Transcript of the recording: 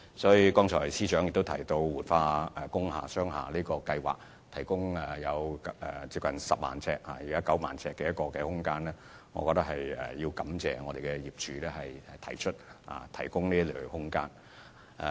司長剛才亦提到活化工廈和商廈計劃所提供的約9萬平方呎空間，我也要藉此機會感謝業主提供這些空間。